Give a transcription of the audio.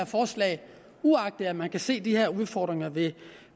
uagtet at man kan se de her udfordringer ved